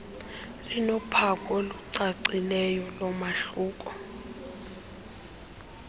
linophawu olucacileyo lomahluko